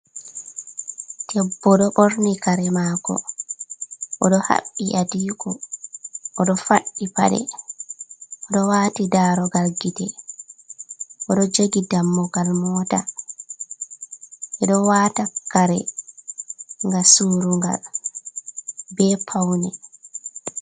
debbo do borni kare mako, odo habbi adiko ,odo faddi pade, odo wati darogal gite, odo jogi dammugal mota, bedo wata kare, gam surugal be paune.